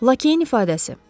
Lakeyin ifadəsi.